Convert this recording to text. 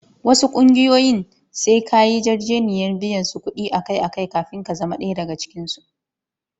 Wasu ƙungiyoyin sai ka yi yarjejeniyar biyan su kuɗi akai-akai kafin ka zama ɗaya daga cikinsu.